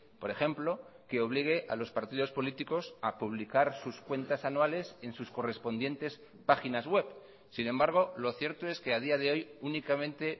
por ejemplo que obligue a los partidos políticos a publicar sus cuentas anuales en sus correspondientes páginas web sin embargo lo cierto es que a día de hoy únicamente